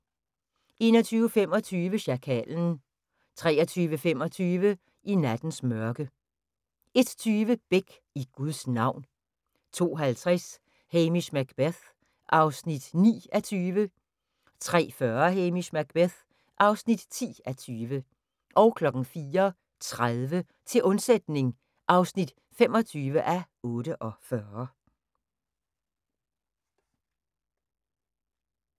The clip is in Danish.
21:25: Sjakalen 23:25: I nattens mørke 01:20: Beck: I Guds navn 02:50: Hamish Macbeth (9:20) 03:40: Hamish Macbeth (10:20) 04:30: Til undsætning (25:48)